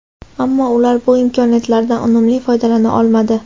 Ammo ular bu imkoniyatlardan unumli foydalana olmadi.